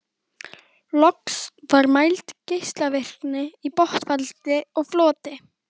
Loks var mæld geislavirkni í botnfalli og floti.